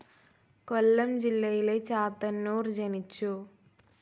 കൊല്ലം ജില്ലയിലെ ചാത്തന്നൂർ ജനിച്ചു.